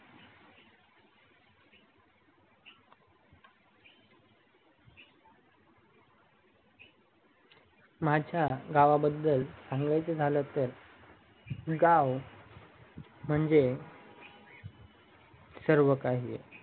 माझ्या गावाबद्दल सांगायचेझालं तर गाव म्हणजे सर्वकाही आहे